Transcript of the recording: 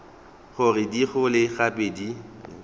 gore di gole gape di